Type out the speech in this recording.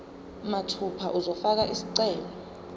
mathupha uzofaka isicelo